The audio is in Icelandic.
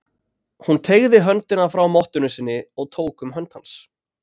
Hún teygði út höndina frá mottunni sinni og tók um hönd hans.